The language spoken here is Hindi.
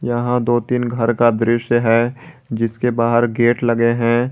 यहां दो तीन घर का दृश्य है जिसके बाहर गेट लगे हैं।